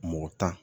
Mɔgɔ tan